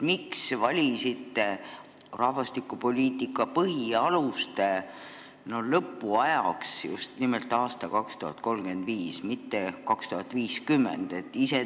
Miks te valisite rahvastikupoliitika põhialuste dokumendi lõpuajaks just nimelt aasta 2035, mitte näiteks 2050?